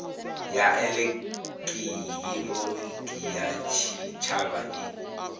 ya elekihironiki ya tshitshavha i